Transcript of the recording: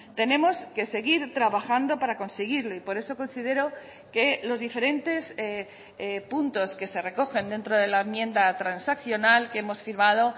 tenemos que seguir trabajando para conseguirlo y por eso considero que los diferentes puntos que se recogen dentro de la enmienda transaccional que hemos firmado